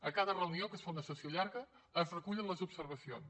a cada reunió que es fa una sessió llarga es recullen les observacions